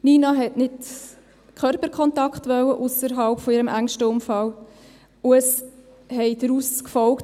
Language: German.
Nina hat ausserhalb ihres engsten Umfelds nicht Körperkontakt gewollt, und es haben daraus gefolgt: